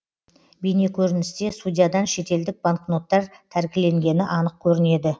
бейнекөріністе судьядан шетелдік банкноттар тәркіленгені анық көрінеді